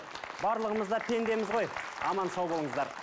барлығымыз да пендеміз ғой аман сау болыңыздар